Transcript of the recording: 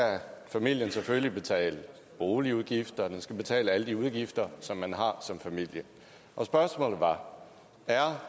familien selvfølgelig have betalt boligudgifter den skal betale alle de udgifter som man har som familie og spørgsmålet var er